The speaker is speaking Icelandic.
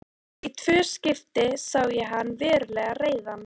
Í tvö skipti sá ég hann verulega reiðan.